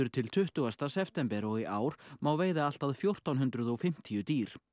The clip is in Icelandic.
til tuttugasta september og í ár má veiða allt að fjórtán hundruð og fimmtíu dýr